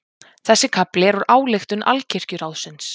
Þessi kafli er úr ályktun Alkirkjuráðsins.